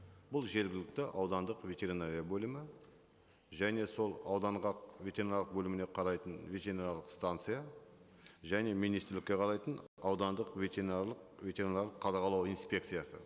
бұл жергілікті аудандық ветеринария бөлімі және сол ауданға ветеринариялық бөліміне қарайтын ветеринариялық станция және министрлікке қарайтын аудандық ветеринарлық ветеринарлық қадағалау инспекциясы